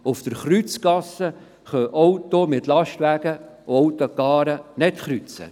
Auf der Kreuzgasse können Autos nicht mit Lastwagen und Cars kreuzen.